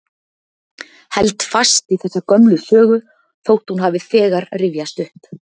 Held fast í þessa gömlu sögu þótt hún hafi þegar rifjast upp.